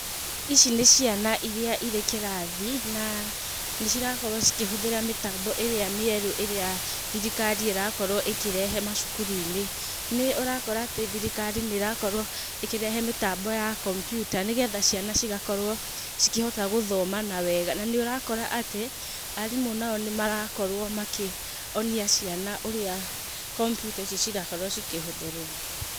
Ici nĩ ciana iria irĩ kĩrathi, na nĩ cirakorwo cikĩhũthĩra mĩtambo ĩrĩa mĩerũ ĩria thirikari ĩrakorwo ĩkĩrehe macukuru-inĩ. Nĩ ũrakora atĩ thirikari nĩ ĩrakorwo ĩkĩrehe mĩtambo ya kompyuta nĩgetha ciana cigakorwo cikĩhota gũthoma wega. Na ni ũrakora atĩ arimũ nao nĩ marakorwo makĩonia ciana ũrĩa kompyuta ici cirakorwo cikĩhũthĩrwo.